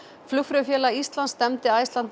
Flugfreyjufélag Íslands stefndi Icelandair